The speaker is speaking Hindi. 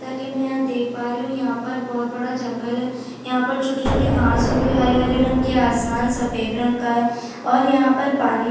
ताकि मै यहाँ पर देख पा रही हूँ यहाँ पर बहुत बडा जंगल है यहाँ पर छोटी - छोटी घास उगी हरे - हरे रंग कि आसमान सफेद रंग का है और यहाँ पर पानी --